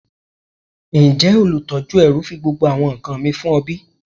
Njẹ olutọju ẹru fi gbogbo awọn nkan mi fun ọ bi?